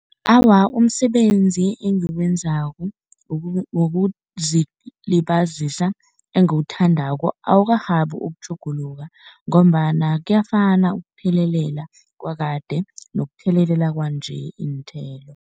Awa, umsebenzi engiwenzako wokuzilibazisa engiwuthandako awakarhabi ukutjhuguluka ngombana kuyafana ukuthelelela kwakade nokuthelelela kwanje iinthelo.